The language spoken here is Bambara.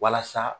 Walasa